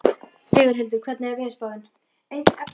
Sigurhildur, hvernig er veðurspáin?